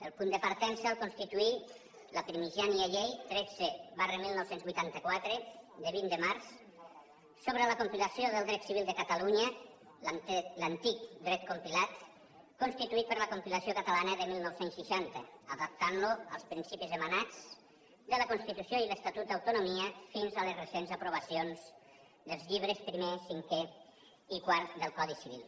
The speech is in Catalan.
el punt de partença el constituí la primigènia llei tretze dinou vuitanta quatre de vint de març sobre la compilació del dret civil de catalunya l’antic dret compilat constituït per la compilació catalana de dinou seixanta adaptant lo als principis emanats de la constitució i l’estatut d’autonomia fins a les recents aprovacions dels llibres primer cinquè i quart del codi civil